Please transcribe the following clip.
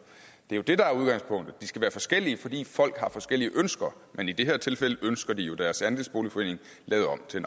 er jo det der er udgangspunktet de skal være forskellige fordi folk har forskellige ønsker men i det her tilfælde ønsker de deres andelsboligforening lavet om til